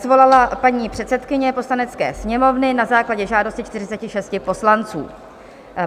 Svolala paní předsedkyně Poslanecké sněmovny na základě žádosti 46 poslanců.